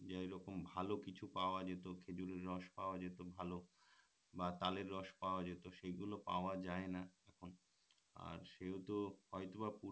এইরকম ভাল কিছু পাওয়া যেত খেজুরের রস পাওয়া যেত ভাল বা তালের রস পাওয়া যেত সেই গুলো পাওয়া যায় না এখন আর সেও তো হয়তোবা